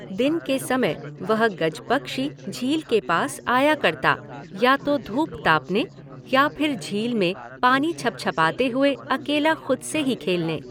दिन के समय वह गजपक्षी झील के पास आया करता, या तो धूप तापने या फिर झील में पानी छपछपाते हुए अकेला खुद से ही खेलने।